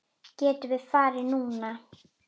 Getum við farið núna?